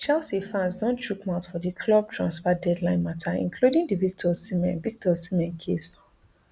chelsea fans don chook mouth for di club transfer deadline mata including di victor osimhen victor osimhen case